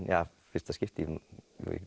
fyrsta skipti ég